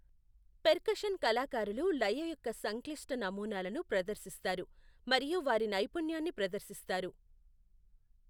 Percussion కళాకారులు లయ యొక్క సంక్లిష్ట నమూనాలను ప్రదర్శిస్తారు మరియు వారి నైపుణ్యాన్ని ప్రదర్శిస్తారు.